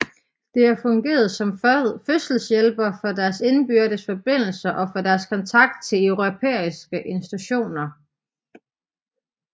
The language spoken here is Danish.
Det har fungeret som fødselshjælper for deres indbyrdes forbindelser og for deres kontakt til europæiske institutioner